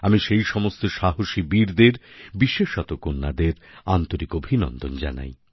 আমি সেই সমস্ত সাহসী বীরদের বিশেষত কন্যাদের আন্তরিক অভিনন্দন জানাই